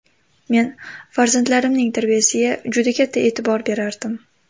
Men farzandlarimning tarbiyasiga juda katta e’tibor berardim.